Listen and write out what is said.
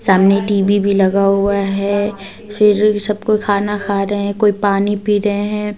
सामने टी_वी भी लगा हुआ है सबको खाना खा रहे हैं कोई पानी पी रहे हैं।